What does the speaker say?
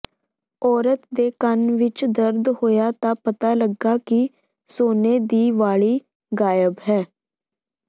ਔਰਤ ਦੇ ਕੰਨ ਵਿਚ ਦਰਦ ਹੋਇਆ ਤਾਂ ਪਤਾ ਲੱਗਾ ਕਿ ਸੋਨੇ ਦੀ ਵਾਲੀ ਗਾਇਬ ਹੈ